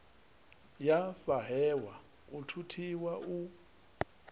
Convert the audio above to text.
ya fhahehwa u thuthiwa u